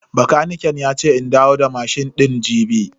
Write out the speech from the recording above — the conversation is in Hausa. Bakaniken yace in dawo da mashin din jibi.